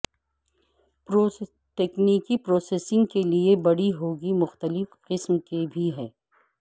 تکنیکی پروسیسنگ کے لئے بڑی ہو گئی مختلف قسم کے بھی ہیں